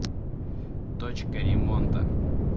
точка ремонта